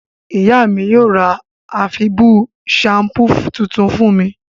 Màmá mí yio ra àfibù shampoo tuntun fún mi